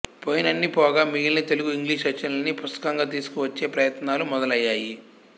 పోయినన్ని పోగా మిగిలిన తెలుగు ఇంగ్లీషు రచనల్ని పుస్తకంగా తీసుకువచ్చే ప్రయత్నాలు మొదలయ్యాయి